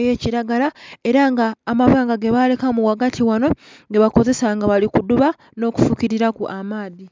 eya kilagala era nga amabanga gebalekamu ghagati ghano gebakozesa nga bali kudhuba nho kufukililaku amaadhi.